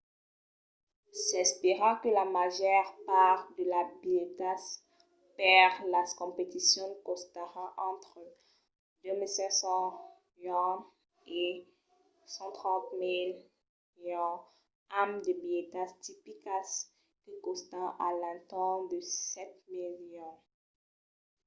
s'espèra que la màger part de las bilhetas per las competicions costaràn entre 2 500¥ e 130 000¥ amb de bilhetas tipicas que còstan a l’entorn de 7 000¥